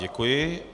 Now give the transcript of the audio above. Děkuji.